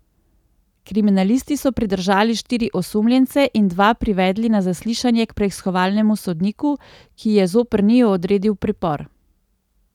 Kriminalisti so pridržali štiri osumljence in dva privedli na zaslišanje k preiskovalnemu sodniku, ki je zoper njiju odredil pripor.